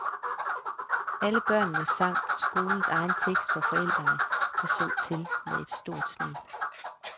Alle børnene sang skolens egen tekst for forældrene, der så til med et lille stolt smil.